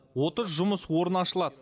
отыз жұмыс орны ашылады